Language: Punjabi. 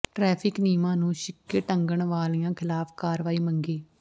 ਟਰੈਫ਼ਿਕ ਨਿਯਮਾਂ ਨੂੰ ਛਿੱਕੇ ਟੰਗਣ ਵਾਲਿਆਂ ਖ਼ਲਾਫ਼ ਕਾਰਵਾਈ ਮੰਗੀ